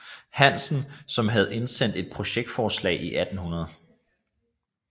Hansen som havde indsendt et projektforslag i 1800